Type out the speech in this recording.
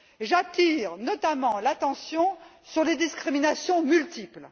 J'attire notamment l'attention sur les discriminations multiples.